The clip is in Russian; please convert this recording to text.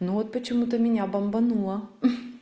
но вот почему-то меня бомбануло